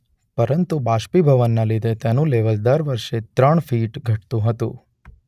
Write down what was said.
પરંતુ બાષ્પીભવનને લીધે તેનુ લેવલ દર વર્ષે ત્રણ ફીટ ઘટતુ હતું.